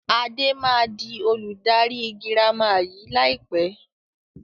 Adé máa di olùdarí girama yìí lai pẹ̀